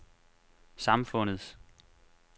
samfundets